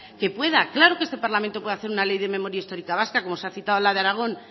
que pueda claro que este parlamento puede hacer una ley de memoria histórica vasca como se ha citado la de aragón